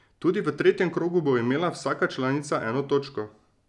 Tudi v tretjem krogu bo imela vsaka članica eno točko.